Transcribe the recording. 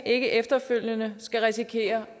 ikke efterfølgende skal risikere